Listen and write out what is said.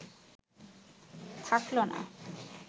থাকলো না